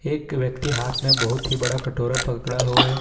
एक व्यक्ति हाथ में बहोत ही बड़ा कटोरा पकड़ा हुआ है।